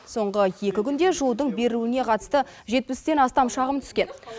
соңғы екі күнде жылудың берілуіне қатысты жетпістен астам шағым түскен